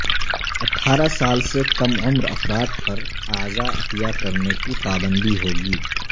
اٹھارہ سال سے کم عمر افراد پر اعضاء عطیہ کرنے کی پابندی ہو گی